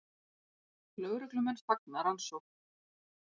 Lögreglumenn fagna rannsókn